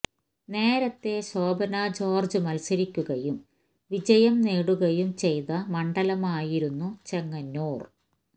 നേരത്തേ ശോഭനാ ജോര്ജ് മത്സരിക്കുകയും വിജയം നേടുകയും ചെയ്ത മണ്ഡലമായിരുന്നു ചെങ്ങന്നൂര്